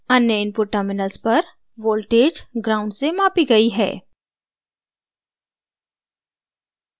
अन्य input terminals पर voltage ground gnd से मापी gnd है